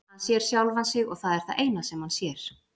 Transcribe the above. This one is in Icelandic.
Hann sér sjálfan sig og það er það eina sem hann sér.